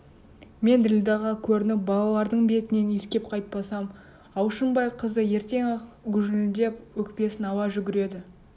мен ділдәға көрініп балалардың бетінен иіскеп қайтпасам алшынбай қызы ертең-ақ гүжілдеп өкпесін ала жүгіреді